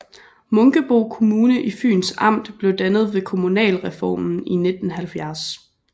Munkebo Kommune i Fyns Amt blev dannet ved kommunalreformen i 1970